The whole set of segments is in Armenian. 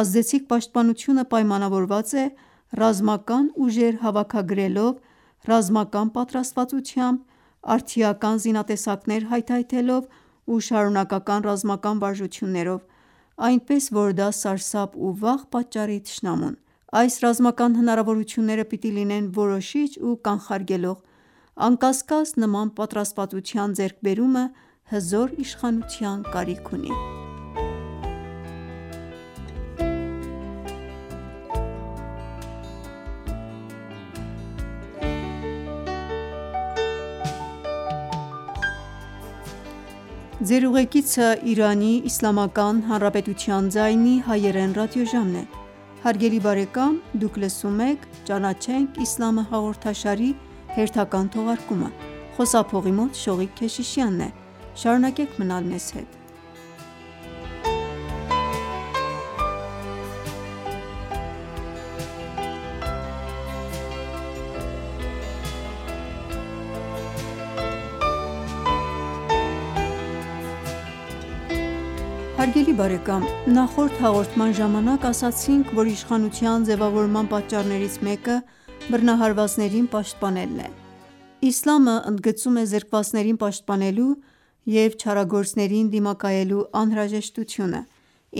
ազդեցիկ պաշտպանությունը պայմանավորված է ռազմական ուժեր հավաքագրելով, ռազմական պատրաստվածությամբ, արդիական զինատեսակներ հայթայթելով ու շարունակական ռազմական վարժություններով, այնպես որ դա սարսափ ու վախ պատճառի թշնամուն: Այս ռազմական հնարավորությունները պիտի լինեն որոշիչ ու կանխարգելող: Անկասկած նման պատրաստվածության ձեռք բերումը հզոր իշխանության կարիք ունի: Նախորդ հաղորդման ժամանակ ասացինք, որ իշխանության ձևավորման պատճառներից մեկը բռնահարվածներին պաշտպանելն է: Իսլամը ընդգծում է զրկվածներին պաշտպանելու և չարագործներին դիմակայելու անհրաժեշտությունը: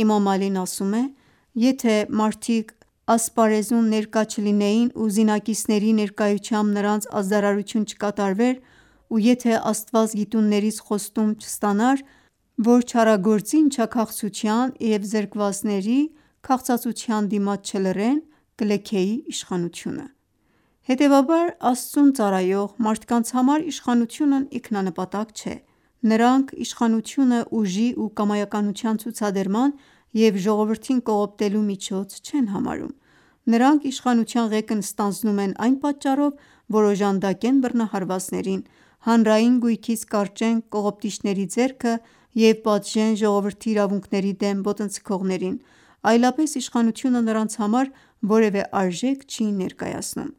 Էմամ Ալին ասում է. «Եթե մարդիկ ասպարեզում ներկա չլինեին ու զինակիցների ներկայությամբ նրանց ազդարարություն չկատարվեր, ու եթե Աստված գիտուններից խոստում չառներ, որ չարագործի ընչաքաղցության և զրկվածների քաղցածության դիմաց չլռեն, կլքեի իշխանությունը»: Հետևաբար Աստծուն ծառայող մարդկանց համար իշխանությունն ինքնանպատակ չէ: Նրանք իշխանությունը ուժի ու կամայականության ցուցադրման և ժողովրդին կողոպտելու միջոց չեն համարում: Նրանք իշխանության ղեկն ստանձնում են այն պատճառով, որ օժանդակեն բռնահարվածներին, հանրային գույքից կարճեն կողոպտիչների ձեռքը և պատժեն ժողովրդի իրավունքների դեմ ոտնձգողներին: Այլապես իշխանությունը նրանց համար որևէ արժեք չի ներկայացնում: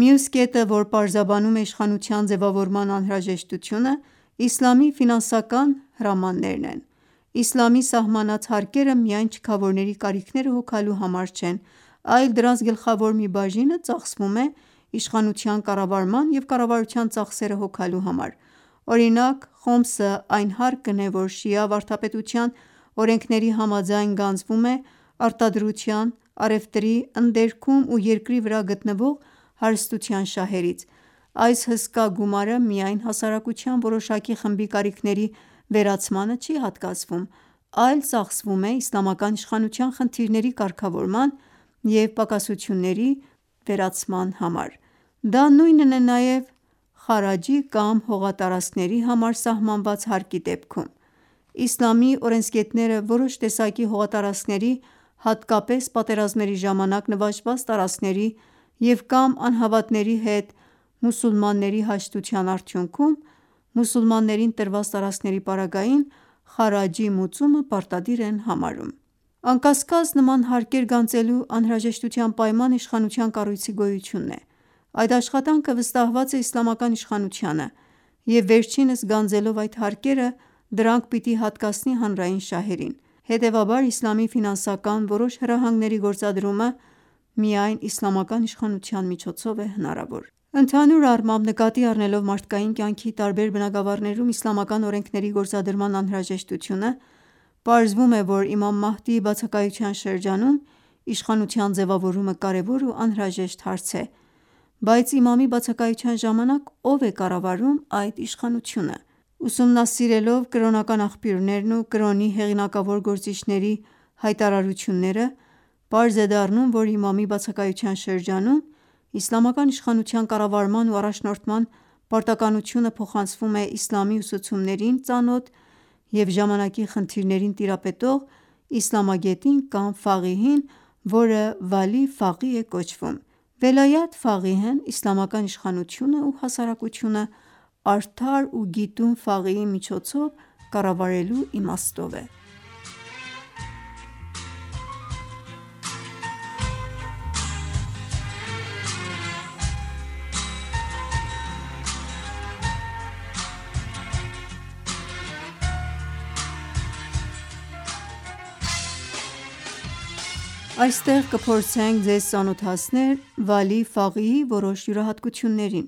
Մյուս կետը որ պարզաբանում է իշխանության ձևավորման անհրաժեշտությունը իսլամի ֆինանսական հրամաններն են: Իսլամի սահմանած հարկերը միայն չքավորների կարիքները հոգալու համար չեն, այլ դրանց գլխավոր մի բաժինը ծախսվում է իշխանության կառավարման և կառավարության ծախսերը հոգալու համար: Օրինակ «Խոմս»-ը այն հարկն է որ շիա վարդապետության օրենքների համաձայն գանձվում է արտադրության, առևտրի, ընդերքում ու երկրի վրա գտնվող հարստության շահերից: Այս հսկա գումարը միայն հասարակության որոշակի խմբի կարիքների վերացմանը չի հատկացվում, այլ ծախսվում է իսլամական իշխանության խնդիրների կարգավորման և պակասությունների վերացման համար: Դա նույնն է նաև «Խառաջ»-ի կամ հողատարածքների համար սահմանված հարկի դեպքում: Իսլամի օրենսգետները որոշ տեսակի հողատարածքների, հատկապես պատերազմների ժամանակ նվաճված տարածքների և կամ անհավատների հետ մուսուլմանների հաշտության արդյունքում մուսուլմաններին տրված տարածքների պարագային «Խառաջ»-ի մուծումը պարտադիր են համարում: Անկասկած նման հարկեր գանձելու անհրաժեշտ պայմանը իշխանության կառույցի գոյությունն է: Այդ աշխատանքը վստահված է իսլամական իշխանությանը և վերջինս գանձելով այդ հարկերը դրանք պիտի հատկացնի հանրային շահերին: Հետևաբար իսլամի ֆինանսական որոշ հրահանգների գործադրումը միայն իսլամական իշխանության միջոցով է հնարավոր: Ընդհանուր առմամբ նկատի առնելով մարդկային կյանքի տարբեր բնագավառներում իսլամական օրենքների գործադրման անհրաժեշտությունը պարզվում է, որ Էմամ Մահդիի բացակայության շրջանում իշխանության ձևավորումը կարևոր ու անհրաժեշտ հարց է: Բայց Էմամի բացակայության ժամանակ ո՞վ է կառավարում այդ իշխանությունը: Ուսումնասիրելով կրոնական աղբյուրներն ու կրոնի հեղինակավոր գործիչների հայտարարությունները պարզ է դառնում, որ էմամի բացակայության շրջանում իսլամական իշխանության կառավարման ու առաջնորդման պարտականությունը փոխանցվում է իսլամի ուսուցումներին ծանոթ և ժամանակի խնդիրներին տիրապետող իսլամագետին կամ Ֆաղիհին, որը «Վալի Ֆաղիհ» է կոչվում: «Վելայաթ Ֆաղիհ»-ն իսլամական իշխանությունը ու հասարակությունը արդար ու գիտուն Ֆաղիհի միջոցով կառավարվելու իմաստով է: Այստեղ կփորձենք ձեզ ծանոթացնել Վալի Ֆաղիհի որոշ յուրահատկություններին: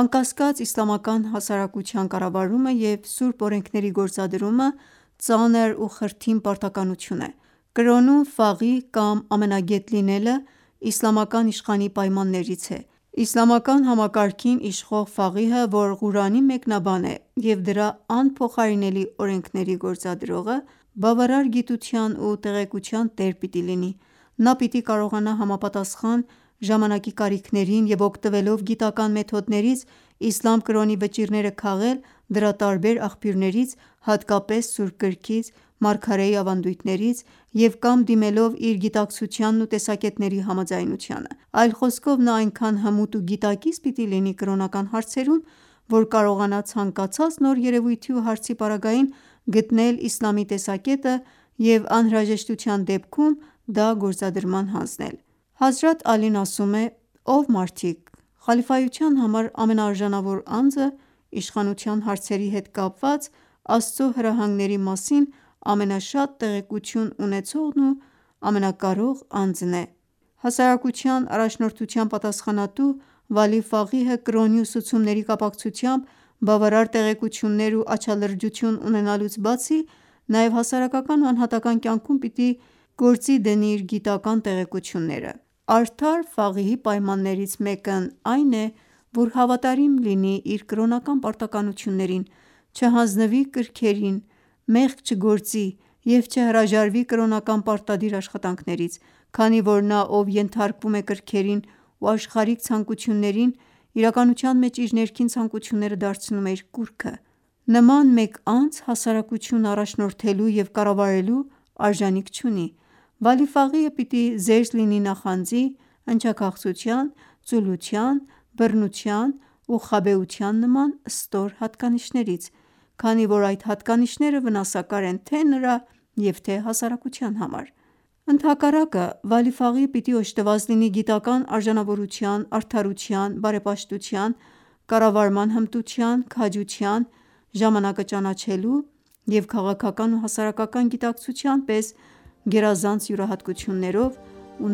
Անկասկած իսլամական հասարակության կառավարումը և սուրբ օրենքների գործադրումը ծանր ու խրթին պարտականություն է: Կրոնում ֆաղիհ կամ ամենագետ լինելը իսլամական իշխանի պայմաններից է: Իսլամական համակարգին իշխող ֆաղիհը, որ Ղուրանի մեկնաբան է և դրա անփոխարինելի օրենքների գործադրողը, բավարար գիտության ու տեղեկության տեր պիտի լինի: Նա պիտի կարողանա համապատասխան ժամանակի կարիքներին և օգտվելով գիտական մեթոդներից իսլամ կրոնի վճիռները քաղել դրա տարբեր աղբյուրներից, հատկապես սուրբ գրքից, մարգարեի ավանդույթներից և կամ դիմելով իր գիտակցությանն ու տեսակետների համաձայնությանը: Այլ խոսքով նա այնքան հմուտ ու գիտակից պիտի լինի կրոնական հարցերում, որ կարողանա ցանկացած նոր երևույթի ու հարցի պարագային գտնել իսլամի տեսակետը և անհրաժեշտության դեպքում դա գործադրման հանձնել: Հազրաթ Ալին ասում է. «Ով մարդիկ, խալիֆայության համար ամենաարժանավոր անձը իշխանության հարցերի հետ կապված Աստծո հրահանգների մասին ամենաշատ տեղեկությունն ունեցողն ու ամենակարող անձն է»: Հասարակության առաջնորդության պատասխանատու Վալի Ֆաղիհը կրոնի ուսուցումների կապակցությամբ բավարար տեղեկություններ ու աչալրջություն ունենալուց բացի նաև հասարակական ու անհատական կյանքում պիտի գործի դնի իր գիտական տեղեկությունները: Արդար Ֆաղիհի պայմաններից մեկն էլ այն է, որ հավատարիմ լինի իր կրոնական պարտականություններին, չհանձնվի կրքերի դիմաց, մեղք չգործի և չհրաժարվի կրոնական պարտադիր աշխատանքներից: Քանի որ նա ով ենթարկվում է կրքերին ու աշխարհիկ ցանկություններին իրականության մեջ իր ներքին ցանկությունները դարձնում է իր կուռքը: Նման մեկ անձ հասարակությունն առաջնորդելու և կառավարելու արժանիք չունի: Վալի Ֆաղիհը պիտի զերծ լինի նախանձի, ընչաքաղցության, ծուլության, բրտության ու խաբեության նման ստոր հատկանիշներից: Քանի որ այդ հատկանիշները վնասակար են թե նրա և թե հասարակության համար: Ընդհակառակը Վալիհ Ֆաղիհը պիտի օժտված լինի գիտական արժանավորության, արդարության, բարեպաշտության, կառավարման հմտության, քաջության, ժամանակը ճանաչելու և քաղաքական ու հասարակական գիտակցության պես գերազանց յուրահատկություններով ու